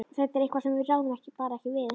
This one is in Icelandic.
Þetta er eitthvað sem við ráðum bara ekki við.